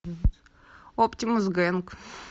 оптимус гэнг